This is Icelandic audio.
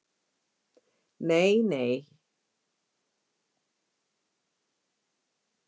Nei, nei, það er mjög fínt